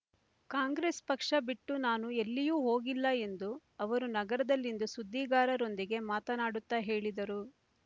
ಕಾಂಗ್ರೆಸ್ ಪಕ್ಷ ಬಿಟ್ಟು ನಾನು ಎಲ್ಲಿಯೂ ಹೋಗಿಲ್ಲ ಎಂದು ಅವರು ನಗರದಲ್ಲಿಂದು ಸುದ್ದಿಗಾರರೊಂದಿಗೆ ಮಾತನಾಡುತ್ತ ಹೇಳಿದರು